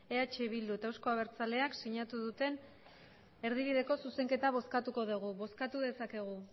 eh bilduk eta euzko abertzaleak sinatu duten erdibideko zuzenketa bozkatuko dugu bozkatu dezakegu